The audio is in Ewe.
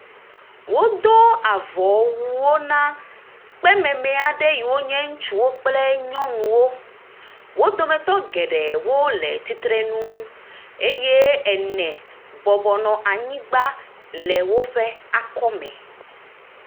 Wodo avɔwu na kpememe aɖe yiwo nye ŋutsuwo kple nyɔnuwo. Wo dometɔ geɖe le tsitre nu eye ene nɔ anyigba le woƒe akɔme.